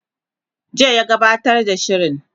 jiya ya gabbatar da shirin